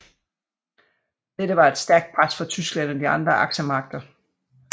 Dette var efter stærkt pres fra Tyskland og de andre aksemagter